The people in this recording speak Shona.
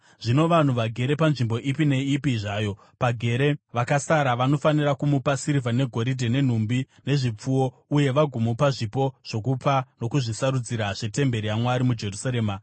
Zvino vanhu vagere panzvimbo ipi neipi zvayo pagere vakasara, vanofanira kumupa sirivha negoridhe, nenhumbi nezvipfuwo, uye vagomupa zvipo zvokupa nokuzvisarudzira zvetemberi yaMwari muJerusarema.